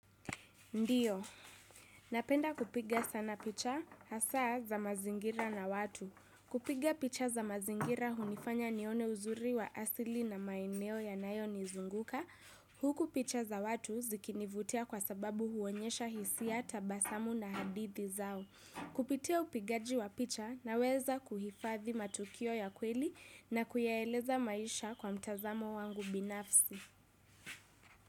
Ndiyo. Napenda kupiga sana picha hasa za mazingira na watu. Kupiga picha za mazingira hunifanya nione uzuri wa asili na maeneo yanayo nizunguka. Huku picha za watu zikinivutia kwa sababu huonyesha hisia tabasamu na hadithi zao. Kupitia upigaji wa picha naweza kuhifathi matukio ya kweli na kuyaeleza maisha kwa mtazamo wangu binafsi.